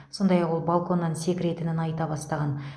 сондай ақ ол балконнан секіретінін айта бастаған